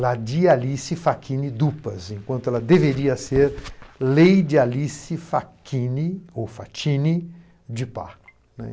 Ladia alice Facchini Dupas, enquanto ela deveria ser Leide alice Facchini ou Facchini de Parco.